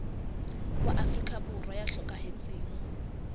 wa afrika borwa ya hlokahetseng